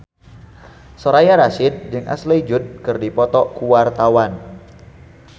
Soraya Rasyid jeung Ashley Judd keur dipoto ku wartawan